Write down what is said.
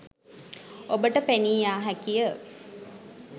ඔබට පෙනීයාහැකිය.